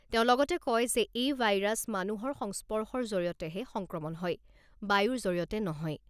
তেওঁ লগতে কয় যে এই ভাইৰাছ মানুহৰ সংস্পৰ্শৰ জৰিয়তেহে সংক্ৰমণ হয়, বায়ুৰ জৰিয়তে নহয়।